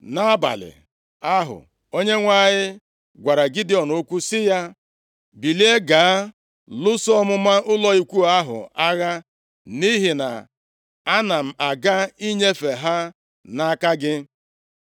Nʼabalị ahụ, Onyenwe anyị gwara Gidiọn okwu sị ya, “Bilie, gaa lụso ọmụma ụlọ ikwu ahụ agha, nʼihi na ana m aga inyefe ha nʼaka gị.